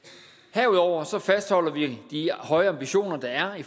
herudover fastholder vi de høje ambitioner der er i